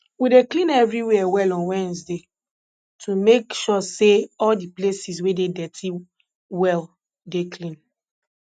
we dey clean everywhere well on wednesday to make sure say all the places wey dey dirty well dey clean